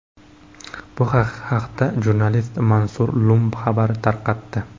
Bu haqda jurnalist Mansur Lum xabar tarqatdi .